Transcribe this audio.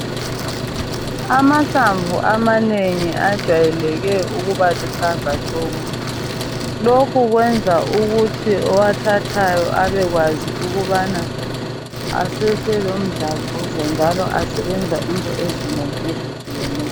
Amahlamvu amanengi ajayeleke ukuba luhlaza tshoko lokhu kwenza ukuthi owathathayo abekwazi ukubana asese lomdlavuzo njalo asebenza into ezinengi ezehlukeneyo